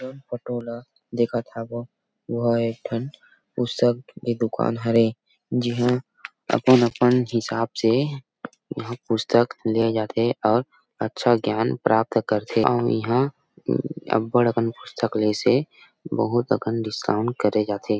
जन फोटो ला देखत हव वो हर एक ठन पुस्तक के दुकान हरे जिहां अपन अपन हिसाब से पुस्तक लिये जाथे और अच्छा ज्ञान प्राप्त कर थे और इहाँ अबड़ अकन पुस्तक ले से बहुत अकन डिस्काउंट करे जा थे।